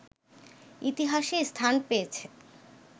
ইতিহাসে স্থান পেয়েছে